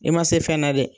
I ma se fɛn na dɛ